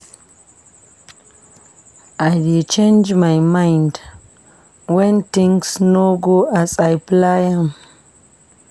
I dey change my mind wen things no go as I plan am.